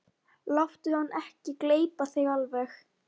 Láttu hann ekki gleypa þig alveg!